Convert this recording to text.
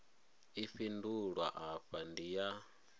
i fhindulwa afha ndi ya